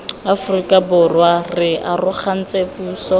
aforika borwa re arogantse puso